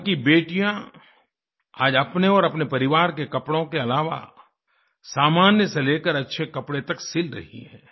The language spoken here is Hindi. यहाँ की बेटियाँ आज अपने और अपने परिवार के कपड़ों के अलावा सामान्य से लेकर अच्छे कपड़े तक सिल रही हैं